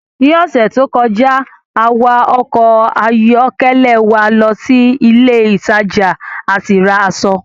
Ní ọ̀sẹ̀ tó kọjá, a wa ọkọ̀ ayọ́kẹ́lẹ́ wa lọ sí ilé ìtajà a sì ra aṣọ